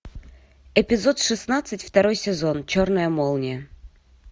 эпизод шестнадцать второй сезон черная молния